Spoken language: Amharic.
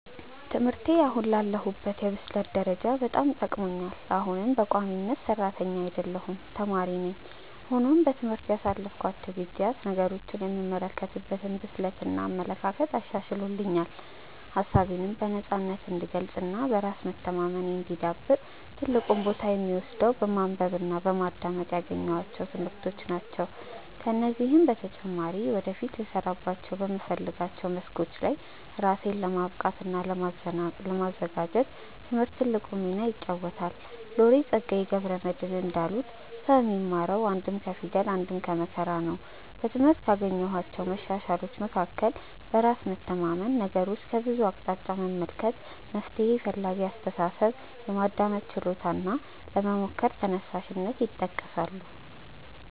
ትምህርቴ አሁን ላለሁበት የብስለት ደረጃ በጣም ጠቅሞኛል። አሁንም በቋሚነት ሰራተኛ አይደለሁም ተማሪ ነኝ። ሆኖም በትምህርት ያሳለፍኳቸው ጊዜያት ነገሮችን የምመለከትበትን ብስለት እና አመለካከት አሻሽሎልኛል። ሀሳቤነም በነፃነት እንድገልፅ እና በራስ መተማመኔ እንዲዳብር ትልቁን ቦታ የሚወስደው በማንበብ እና በማዳመጥ ያገኘኋቸው ትምህርቶች ናቸው። ከዚህም በተጨማሪ ወደፊት ልሰራባቸው በምፈልጋቸው መስኮች ላይ ራሴን ለማብቃት እና ለማዘጋጀት ትምህርት ትልቁን ሚና ይጫወታል። ሎሬት ፀጋዬ ገብረ መድህን እንዳሉት "ሰው የሚማረው አንድም ከፊደል አንድም ከመከራ ነው"።በትምህርት ካገኘኋቸው መሻሻሎች መካከል በራስ መተማመን፣ ነገሮችን ከብዙ አቅጣጫ መመልከት፣ መፍትሔ ፈላጊ አስተሳሰብ፣ የማዳመጥ ችሎታ እና ለመሞከር ተነሳሽነት ይጠቀሳሉ።